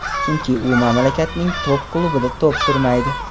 Chunki u mamlakatning top klubida to‘p surmaydi.